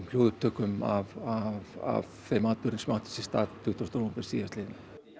hljóðupptökum af þeim atburðum sem áttu sér stað tuttugasta nóvember síðastliðinn